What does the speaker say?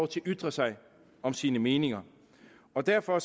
til at ytre sig om sine meninger og derfor